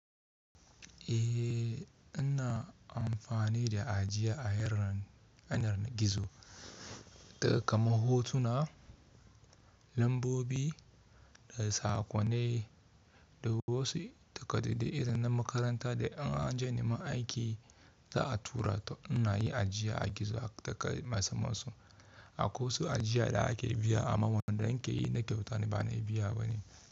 Eh, ina amfani da ajiya a yanar gizo daga kaman hotuna, lambobi da sakonai da wasu takardu. Idan na makaranta da an ja niman aiki za a tura to, ina yi ajiya a gizo daga masu masa. Akwai wasu ajiya da ake biya, amma wadanda nike yi na kyauta bana biya bane.